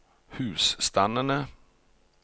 husstandene